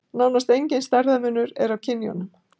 Nánast enginn stærðarmunur er á kynjunum.